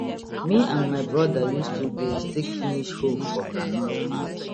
me and my broda use 2 days take finish hoe for groundnut farm